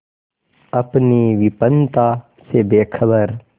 अपनी विपन्नता से बेखबर